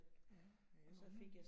Ja. Ja, hun er